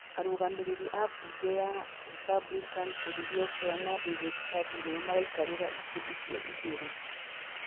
Aũrũgamĩrĩri a Bunge ya Republican Kelly Loeffler na David Perdue nĩo maraikarĩra itĩ icio igĩrĩ.